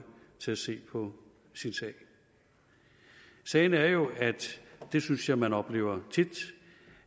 til at se på sin sag sagen er jo og det synes jeg man oplever tit